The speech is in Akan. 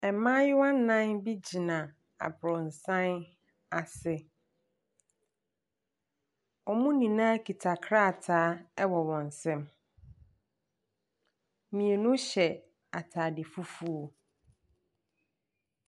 Mmayewa nnan bi gyina aborosan ase. Wɔn nyinaa kita krataa wɔ wɔn nsam. Mmienu hyɛ atade fufuo.